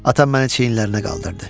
Atam məni çiyinlərində qaldırdı.